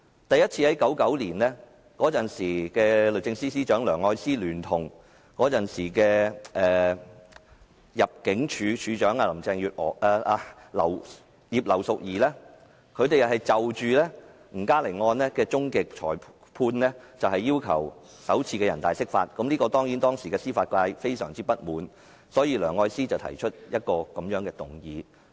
第一次在1999年，當時的律政司司長梁愛詩聯同當時的入境事務處處長葉劉淑儀，就吳嘉玲案的終極裁判首次要求全國人民代表大會常務委員會解釋《基本法》，這當然令當時的司法界非常不滿，所以梁愛詩提出一項無約束力議案。